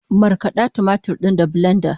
Markada tumatir din da bilenda